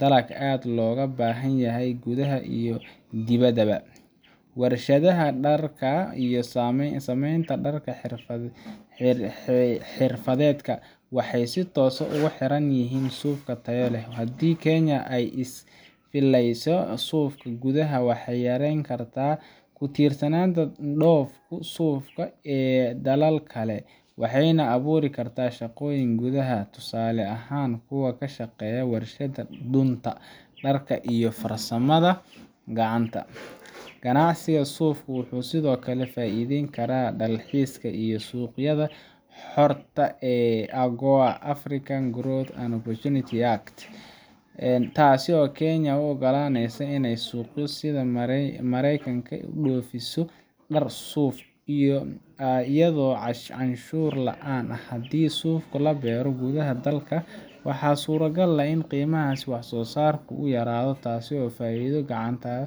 dalag aad looga baahan yahay gudaha iyo dibaddaba. Warshadaha dharka iyo sameynta dhar-xirfadeedka waxay si toos ah ugu xiran yihiin suuf tayo leh. Haddii Kenya ay iska filayso suufka gudaha, waxay yareyn kartaa ku tiirsanaanta dhoofka suufka ee dalal kale, waxayna abuuri kartaa shaqooyin gudaha ah—tusaale ahaan kuwa ka shaqeeya warshadaha dunta, dharka, iyo farsamada gacanta. Ganacsiga suufka wuxuu sidoo kale ka faa’iideyn karaa dalxiiska iyo suuqyada xorta ah sida AGOA African Growth and Opportunity Act, taas oo Kenya u oggolaaneysa inay suuqyo sida Mareykanka u dhoofiso dhar suuf ah iyadoo canshuur la’aan ah. Haddii suufka la beero gudaha dalka, waxaa suurtagal ah in qiimaha wax-soo-saarka uu yaraado, taasoo faa’iido u ah .